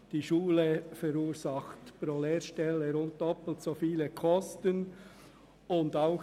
Die Schule verursacht pro Lehrstelle rund doppelt so hohe Kosten wie eine duale Lehre.